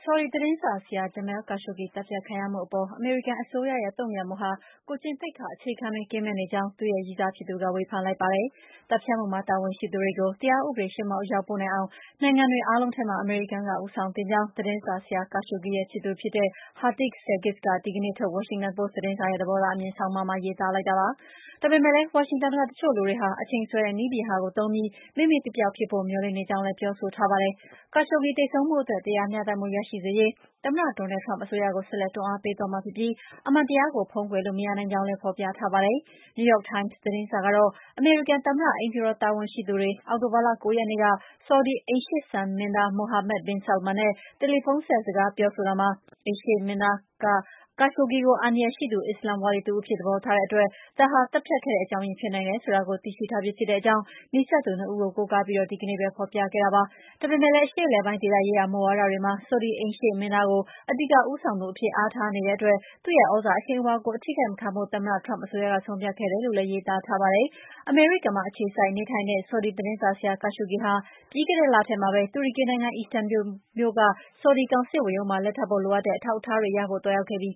ော်ဒီသတင်းစာဆရာ Jamal Khashoggi သတ်ဖြတ်ခံရမှုအပေါ် အမေရိကန်အစိုးရရဲ့ တုံ့ပြန်ပုံဟာ ကိုယ်ကျင့်သိက္ခာအခြေခံတွေ ကင်းမဲ့နေကြောင်း ရည်းစားဖြစ်သူက ဝေဖန်လိုက်ပါတယ်။ သတ်ဖြတ်မှုမှာ တာဝန်ရှိသူတွေကို တရားဥပဒေရှေ့မှောက် အရောက်ပို့နိုင်အောင် နိုင်ငံတွေ အားလုံး ထဲမှာ အမေရိကန်က ဦးဆောင်သင့်ကြောင်း သတင်းစာဆရာ Khashoggi ရဲ့ ချစ်သူဖြစ် တဲ့ Hatice Cengiz က ဒီနေ့ထုတ် Washington Post သတင်းစာရဲ့ သဘောထားအမြင် ဆောင်းပါးမှာ ရေးသား လိုက်တာပါ။ ဒါပေမဲ့လည်း ဝါရှင်တန်က တချို့လူတွေဟာ အချိန်ဆွဲတဲ့ နည်းဗျုဟာကိုသုံးပြီး မေ့မေ့ပျောက်ပျောက် ဖြစ်ဖို့ မျှော်လင့်နေကြောင်းလည်း ပြောဆိုထားပါတယ်။ Khashoggi သေဆုံးမှုအတွက် တရားမျှတမှုရရှိစေရေး သမ္မတ Donald Trump အစိုးရကို ဆက်လက် တွန်းအားပေးသွားမှာဖြစ်ပြီး အမှန်တရားကို ဖုံးကွယ်လို့ မရနိုင်ကြောင်းလည်း ဖော်ပြ ထားပါတယ်။ New York Times သတင်းစာကတော့ အမေရိကန်သမ္မတ အိမ်ဖြူတော် တာဝန် ရှိသူတွေ အောက်တို ဘာလ ၉ ရက်နေ့က ဆော်ဒီအိမ်ရှေ့မင်းသား Mohammed bin Salman နဲ့ တယ်လီဖုန်းဆက် စကားပြောဆိုရာမှာ အိမ်ရှေ့မင်းသားက Khashoggi ကို အန္တရာယ်ရှိသူ အစ္စလာမ်ဝါဒီတဦးအဖြစ် သဘောထားတဲ့အတွက် ဒါဟာ သတ်ဖြတ်ခဲ့တဲ့အကြောင်းရင်း ဖြစ်နိုင်တယ် ဆိုတာကို သိရှိထားပြီး ဖြစ်တဲ့အကြောင်း နီးစပ်သူ ၂ ဦးကို ကိုးကားပြီး ဒီကနေ့ပဲ ဖော်ပြခဲ့တာပါ။ ဒါပေမဲ့လည်း အရှေ့အလယ်ပိုင်း ဒေသရေးရာ မူဝါဒတွေမှာ ဆော်ဒီအိမ်ရှေ့မင်းသားကို အဓိက ဦးဆောင်သူအဖြစ် အားထားနေတဲ့အတွက် သူ့သြဇာအရှိန်အဝါကို အထိခိုက်မခံဖို့ သမ္မတ Trump အစိုးရက ဆုံးဖြတ်ခဲ့တယ်လို့လည်း ရေးသားထားပါတယ်။ အမေရိကန်မှာ အခြေစိုက်နေထိုင်တဲ့ ဆော်ဒီသတင်းစာဆရာ Khashoggi ဟာ ပြီးခဲ့တဲ့လထဲမှာပဲ တူရကီနိုင်ငံ အီစတန်ဘူလ်မြို့က ဆော်ဒီကောင်စစ်ဝန်ရုံးမှာ လက်ထပ်ဖို့ လိုအပ်တဲ့ အထောက်အထားတွေရဖို့ သွားရောက်ခဲ့ပြီး